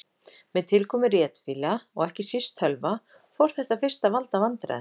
Með tilkomu ritvéla og ekki síst tölva fór þetta fyrst að valda vandræðum.